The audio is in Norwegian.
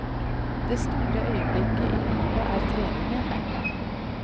Det store øyeblikket i livet er treningen.